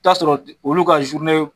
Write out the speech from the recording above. T'a sɔrɔ olu ka zurune